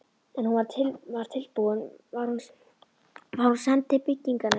En er hún var tilbúin, var hún send til byggingarnefndar.